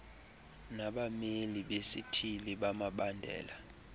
nabameli besithili bemibandela